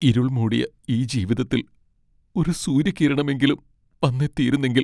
ഇരുൾമൂടിയ ഈ ജീവിതത്തിൽ ഒരു സൂര്യകിരണമെങ്കിലും വന്നെത്തിയിരുന്നെങ്കിൽ...